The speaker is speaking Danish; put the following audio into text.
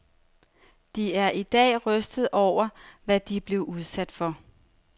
De er i dag rystede over, hvad de blev udsat for.